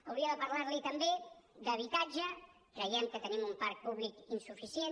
hauria de parlar li també d’habitatge creiem que tenim un parc públic insuficient